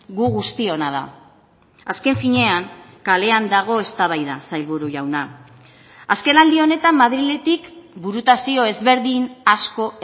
gu guztiona da azken finean kalean dago eztabaida sailburu jauna azkenaldi honetan madriletik burutazio ezberdin asko